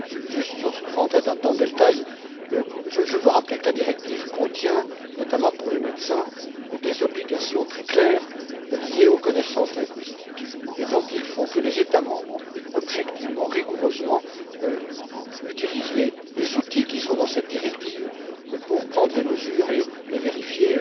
Sans entrer dans le détail, je veux juste rappeler que la directive contient, notamment pour les médecins, des obligations très claires liées aux connaissances linguistiques et donc il faut que les États membres, objectivement, rigoureusement, utilisent les outils qui sont dans cette directive pour prendre les mesures et vérifier